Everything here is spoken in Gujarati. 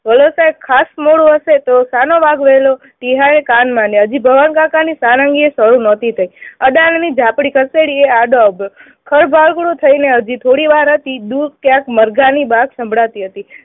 ખાસ મોડું હશે તો શાનો વાંક વહેલો? ટીહાએ કાન માંડ્યા. હજી કાકાની સારંગીએય શરુ નહોતી થયી. અદાનીની જાપડી ખસેડી એ આડો આવતો. થઇને હજી થોડી વાર હતી દૂધ ક્યાંક મરઘાની બાટ સંભળાતી હતી